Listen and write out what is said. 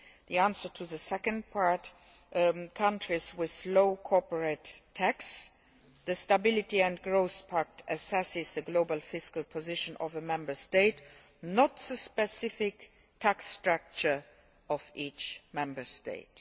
The answer to the second part on countries with low corporate tax the Stability and Growth Pact assesses the global fiscal position of a Member State, not the specific tax structure of each Member State.